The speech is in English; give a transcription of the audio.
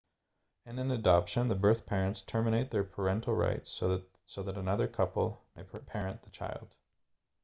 in an adoption the birth parents terminate their parental rights so that another couple may parent the child